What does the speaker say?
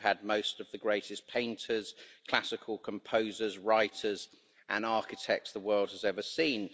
We've had most of the greatest painters, classical composers, writers and architects the world has ever seen.